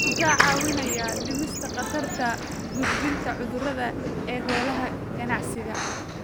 Wuxuu kaa caawinayaa dhimista khatarta gudbinta cudurrada ee xoolaha ganacsiga.